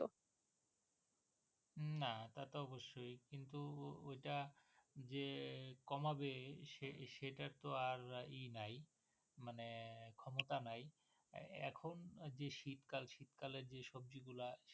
না এটা তো অবশ্যই, কিন্তু ওটা যে কমাবে সেটার তো আর এ নাই মানে ক্ষমতা নাই এখন যে শীতকাল, শীতকালের যে সব্জিগুলা